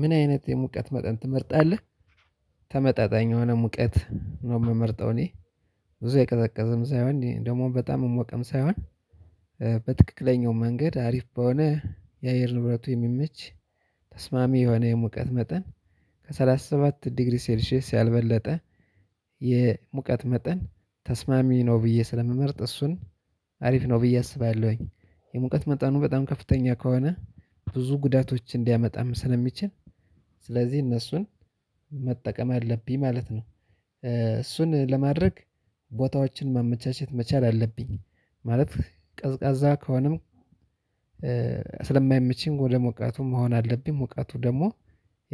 ምን አይነት የሙቀት መጠን ትመርጣለህ? ተመጣጣኝ የሆነ ሙቀት ነው የምመርጠው እኔ እኔ ብዙ የቀዘቀዘም ሳይሆን ደግሞ በጣም የሞቀም ሳይሆን በትክክለኛው መንገድ አሪፍ በሆነ የአየር ንብረቱ የሚመች ተስማሚ የሆነ የሙቀት መጠን ከሰላሳ ሰባት ዲግሪ ሴልሺየስ ያልበለጠ የሙቀት መጠን ተስማሚ ነው ብዬ ስለምመርጥ እሱን አሪፍ ነው ብዬ አስባለሁኝ። የሙቀት መጠኑ በጣም ከፍተኛ ከሆነ ብዙ ጉዳቶች እንዲያመጣም ስለሚችል ስለዚህ እነሱን መጠቀም አለብኝ ማለት ነው። እሱን ለማድረግ ቦታዎችን ማመቻቸት መቻል አለብኝ። ማለት ቀዝቃዛ ከሆነም ስለማይመችኝ ወደ ሞቃቱም መሆን አለብኝ ሙቀቱ ደግሞ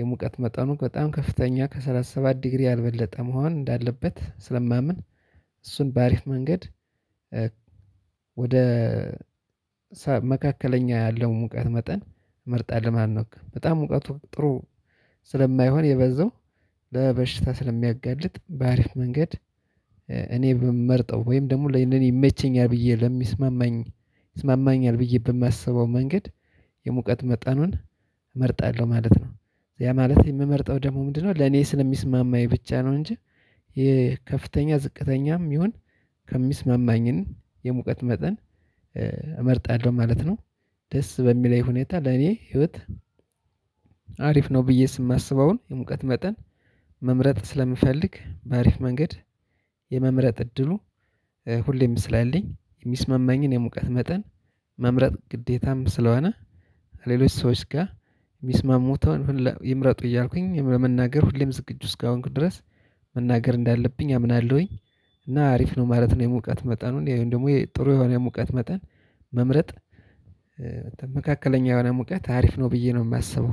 የሙቀት መጠኑ በጣም ከፍተኛ ከሰላሳ ሰባት ዲግሪ ያልበለጠ መሆን እንዳለበት ስለማምን እሱን ባሪፍ መንገድ። ወደ መካከለኛ ያለው ሙቀት መጠን መርጣ ለማን ነው በጣም ሙቀቱ ጥሩ ስለማይሆን የበዛው ለበሽታ ስለሚያጋልጥ በአሪፍ መንገድ። እኔ በምመርጠው ወይም ደግሞ ለኔ ይመቸኛል ብዬ ለሚስማማኝ ይስማማኛል ብዬ በማስበው መንገድ የሙቀት መጠኑን እመርጣለሁ ማለት ነው። ያ ማለት የምመርጠው ደግሞ ምንድነው? ለኔ ስለሚስማማኝ ብቻ ነው እንጂ የከፍተኛ ዝቅተኛም ይሁን ከሚስማማኝን የሙቀት መጠን እመርጣለሁ ማለት ነው። ደስ በሚለኝ ሁኔታ ለኔ ህይወት አሪፍ ነው ብዬ የማስበውን የሙቀት መጠን መምረጥ ስለምፈልግ በአሪፍ መንገድ የመምረጥ እድሉ ሁሌም ስላለኝ የሚስማማኝን የሙቀት መጠን መምረጥ ግዴታም ስለሆነ። ሌሎች ሰዎች ጋር የሚስማሙት ይምረጡ እያልኩኝ ለመናገር ሁሌም ዝግጁ እስከሆንኩ ድረስ መናገር እንዳለብኝ አምናለሁኝ። እና አሪፍ ነው ማለት ነው የሙቀት መጠኑን ወይም ደግሞ ጥሩ የሆነ የሙቀት መጠን መምረጥ መካከለኛ የሆነ ሙቀት አሪፍ ነው ብዬ ነው የማስበው።